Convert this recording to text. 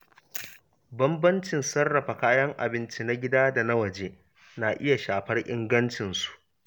Bambancin sarrafa kayan abinci na gida da na waje na iya shafar ingancinsu.